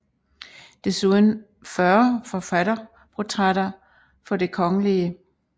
Desuden 40 forfatterportrætter for Det Kgl